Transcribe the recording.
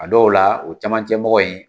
A dɔw la, o caman cɛ mɔgɔ in